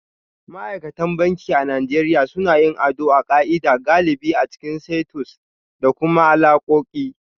Ma'aikatan banki a Najeriya suna yin ado a ka'ida, galibi a cikin suites da kuma alakoki